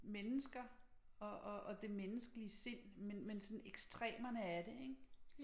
Mennesker og og og det menneskelige sind men men sådan ekstremerne af det ik